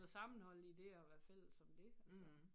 Noget sammenhold i det at være fælles om det altså